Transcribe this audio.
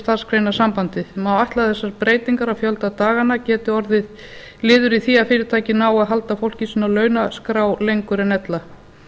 starfsgreinasambandið má ætla að þessar breytingar á fjölda daganna geti orðið liður í því að fyrirtæki nái að halda fólki sínu á launaskrá lengur en ella